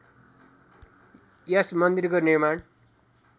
यस मन्दिरको निर्माण